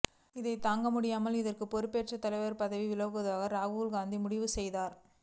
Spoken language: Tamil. இதை தாங்க முடியாமல் இதற்கு பொறுப்பேற்று தலைவர் பதவி விலகுவதாக ராகுல் காந்தி முடிவு செய்தார்